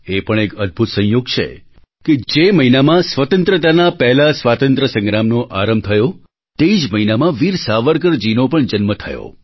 એ પણ એક અદભૂત સંયોગ છે કે જે મહિનામાં સ્વતંત્રતાના પહેલા સ્વાતંત્રય સંગ્રામનો આરંભ થયો તે જ મહિનામાં વીર સાવરકરજીનો પણ જન્મ થયો